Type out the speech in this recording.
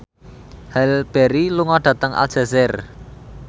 Halle Berry lunga dhateng Aljazair